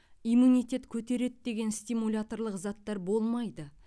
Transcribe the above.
иммунитет көтереді деген стимуляторлық заттар болмайды